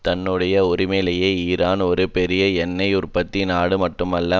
தன்னுடைய உரிமையிலேயே ஈரான் ஒரு பெரிய எண்ணெய் உற்பத்தி நாடு மட்டுமல்ல